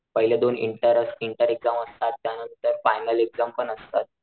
पहिल्या दोन इंटर इंटेरिकम असतात त्या नंतर फायनल एक्साम्स पण असतात.